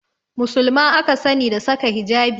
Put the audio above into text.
Musulma aka sani da saka hijabi